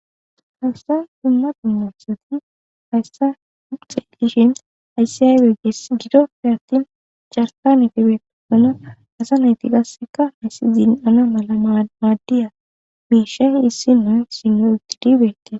Hawsan dumma dummasati hayssa uxedishin hayssi yaywe ggees gido pi hattin chartane fibeeto mina asa nayti gasseka hayssi zin'ana mala maaddiya miisha issinnuu sino ogi dibeete.